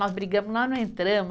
Nós brigamos, nós não entramos.